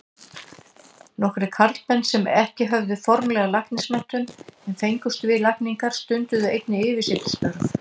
Nokkrir karlmenn sem ekki höfðu formlega læknismenntun en fengust við lækningar, stunduðu einnig yfirsetustörf.